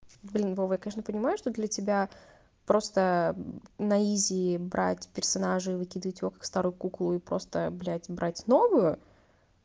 блин вова я конечно понимаю что для тебя просто на изи брать персонажа и выкидывать его как старую куклу и просто блядь брать новую